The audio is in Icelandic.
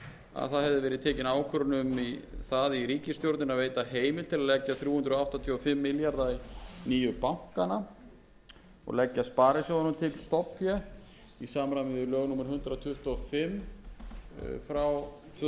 að það hafði verið tekin ákvörðun um það í ríkisstjórninni að veita heimild til að leggja þrjú hundruð áttatíu og fimm milljarða í nýju bankana og leggja sparisjóðunum til stofnfé í samræmi við lög númer hundrað tuttugu og fimm frá tvö þúsund og átta ráðherra